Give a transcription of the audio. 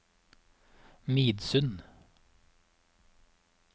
Midsund